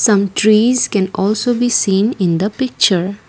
some trees can also be seen in the picture.